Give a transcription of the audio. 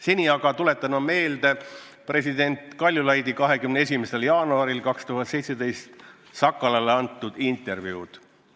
Seni aga tuletan meelde president Kaljulaidi 21. jaanuaril 2017 Sakalale antud intervjuud.